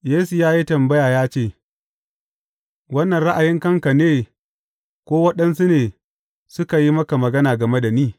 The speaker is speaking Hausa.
Yesu ya yi tambaya ya ce, Wannan ra’ayin kanka ne, ko waɗansu ne suka yi maka magana game da ni?